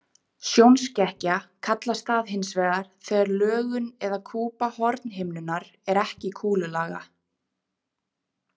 Sjónskekkja kallast það hins vegar þegar lögun eða kúpa hornhimnunnar er ekki kúlulaga.